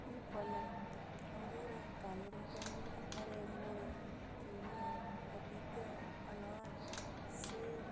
यह फल है अंगूर है काले रंग के अंगूर है हरे अंगूर है केले है पपीते है अनार है सेब है।